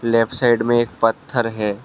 Left side में एक पत्थर है।